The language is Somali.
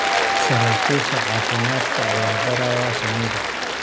Saraakiisha caafimaadka ayaa baaraya shinida.